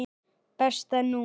Besta númer?